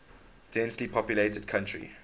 densely populated country